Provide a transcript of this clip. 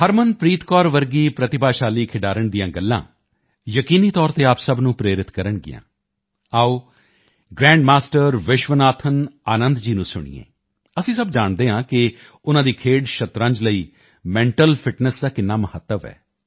ਹਰਮਨਪ੍ਰੀਤ ਜੀ ਵਰਗੇ ਪ੍ਰਤਿਭਾਸ਼ਾਲੀ ਖਿਡਾਰੀ ਦੀਆਂ ਗੱਲਾਂ ਯਕੀਨੀ ਤੌਰ ਤੇ ਆਪ ਸਭ ਨੂੰ ਪ੍ਰੇਰਿਤ ਕਰਨਗੀਆਂ ਆਓ ਗ੍ਰੈਂਡ ਮਾਸਟਰ ਵਿਸ਼ਵਨਾਥਨ ਆਨੰਦ ਜੀ ਨੂੰ ਸੁਣੀਏ ਅਸੀਂ ਸਭ ਜਾਣਦੇ ਹਾਂ ਕਿ ਉਨ੍ਹਾਂ ਦੀ ਖੇਡ ਸ਼ਤਰੰਜ ਲਈ ਮੈਂਟਲ ਫਿਟਨੈੱਸ ਦਾ ਕਿੰਨਾ ਮਹੱਤਵ ਹੈ